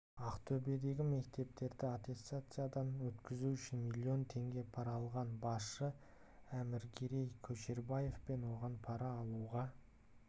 ақтөбедегі мектептерді аттестациядан өткізу үшін миллион теңге пара алған басшы әкімгерей көшербаев пен оған пара алуға